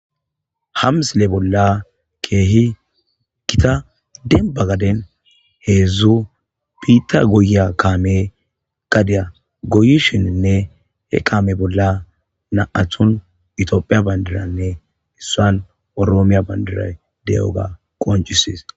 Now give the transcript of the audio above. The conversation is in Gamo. Ha misile bolla keehi kita denba gaden heezu piita goyya kaame gadiya goyishininne he kaame bolla naathun itoophiya bandiranne issuan oroomiya bandira de'oga qoncisis